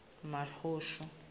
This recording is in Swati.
mahushu